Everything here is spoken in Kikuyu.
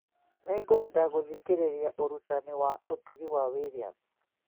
Nĩngwenda gũthikĩrĩria ũrutani wa ũtugi wa Williams